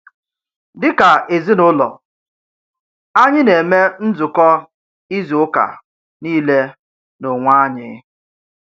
Dịka èzìnùlọ, ányị̀ nà-eme nzùkọ̀ izù ụ̀kà niilè nà onwè ányị̀.